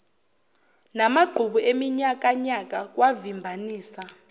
namagqubu eminyakanyaka kwavimbanisa